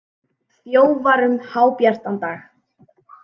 Þjófar um hábjartan dag